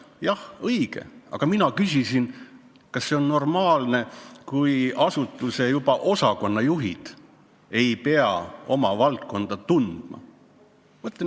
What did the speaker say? Jah, õige, aga mina küsisin, kas see on normaalne, kui juba asutuse osakonnajuhid ei pea oma valdkonda tundma.